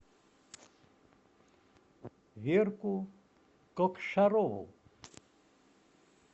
верку кокшарову